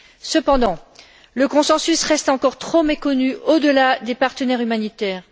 Cependant, le consensus reste encore trop méconnu au delà des partenaires humanitaires.